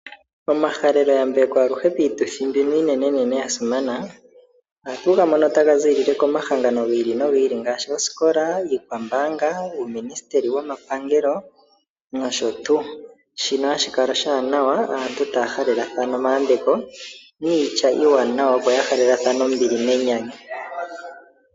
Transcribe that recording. Omahalelo yambeko aluhe piituthi mbino iinenenene yasimana ohatu gamono taga zi komahangano giili nogiili ngaashi oosikola, iikwambaanga , uuministeli womapangelo noshotuu, shino ohashi kala oshiwanawa aantu otaya halelathana omayambeko niitya iiwanawa opo yahalelathane ombili nenyanyu.